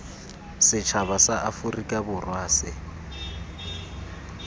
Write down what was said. setšhaba sa aforika borwa se